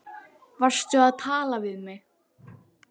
Varstu að tala við mig?